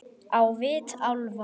Á vit álfa.